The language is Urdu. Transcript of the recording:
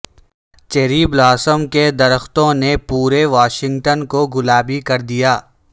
چیری بلاسم کے درختوں نے پورے واشنگٹن کو گلابی کر دیا ہے